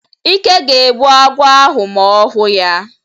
Ike ga-egbu agwọ ahụ ma ọ hụ ya.